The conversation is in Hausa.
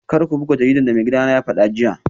Kar ku buga jaridar da maigidana ya fada jiya